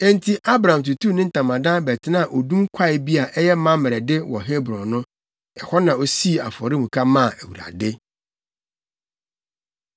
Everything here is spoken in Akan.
Enti Abram tutuu ne ntamadan bɛtenaa odum kwae bi a ɛyɛ Mamrɛ de wɔ Hebron no. Ɛhɔ na osii afɔremuka maa Awurade.